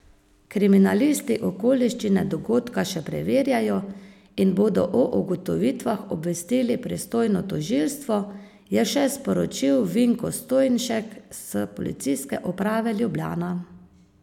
Kriminalisti okoliščine dogodka še preverjajo in bodo o ugotovitvah obvestili pristojno tožilstvo, je še sporočil Vinko Stojnšek s Policijske uprave Ljubljana.